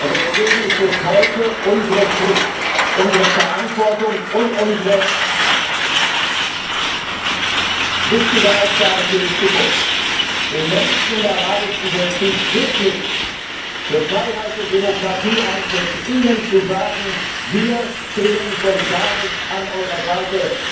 Deswegen ist es heute unsere Pflicht, unsere Verantwortung und unsere wichtige Aufgabe für die Zukunft, den Menschen in der arabischen Welt, die friedlich für Freiheit und Demokratie eintreten, zu sagen, wir stehen solidarisch an eurer Seite.